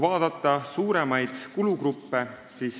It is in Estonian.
Vaatame suuremaid kulugruppe.